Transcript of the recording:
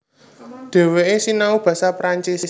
Dhèwèké sinau basa Perancis